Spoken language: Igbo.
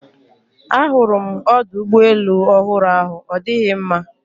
A hụrụ m ọdụ ụgbọ elu ofụru ahụ ọ dịghị mma